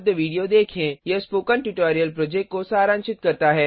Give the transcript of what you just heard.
httpspoken tutorialorgWhat is a Spoken Tutorial यह spoken tutorial project को सारांशित करता है